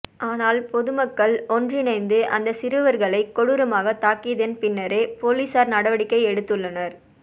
னால் பொதுமக்கள் ஒன்றிணைந்து அந்த சிறுவர்களை கொடூரமாக தாக்கியதன் பின்னரே பொலிசார் நடவடிக்கை எடுத்துள்ளனர்